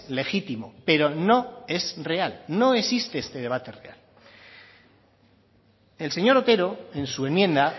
legítimo pero no es real no existe este debate real el señor otero en su enmienda